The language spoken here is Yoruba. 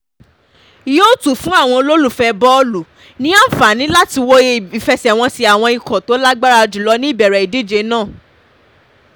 yóò tún fún àwọn olólùfẹ́ bọ́ọ̀lù ní àǹfààní láti wo ìfẹsẹ̀wọnsẹ̀ àwọn ikọ̀ tó lágbára jùlọ ní ìbẹ̀rẹ̀ ìdíje náà